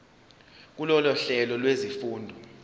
kulolu hlelo lwezifundo